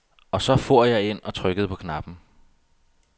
Og så for jeg ind og trykkede på knappen.